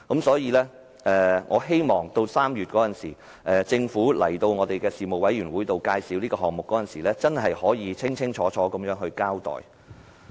所以，我希望政府在3月出席事務委員會會議介紹這個項目時，能夠作出清楚交代。